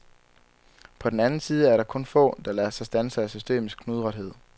På den anden side er der kun få, der lader sig standse af systemets knudrethed.